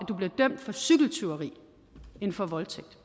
du bliver dømt for cykeltyveri end for voldtægt